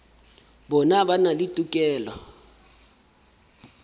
bona ba na le tokelo